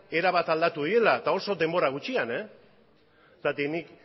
erabat aldatu direla eta oso denbora gutxian zergatik nik